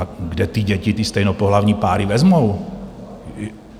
A kde ty děti ty stejnopohlavní páry vezmou?